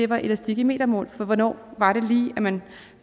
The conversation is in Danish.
var elastik i metermål for hvornår var det lige at man